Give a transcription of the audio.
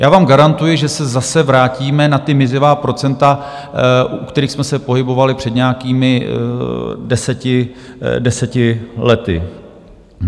Já vám garantuji, že se zase vrátíme na ta mizivá procenta, u kterých jsme se pohybovali před nějakými deseti lety.